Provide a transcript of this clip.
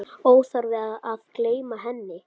Óþarfi að gleyma henni!